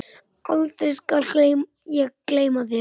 aldrei skal ég gleyma þér.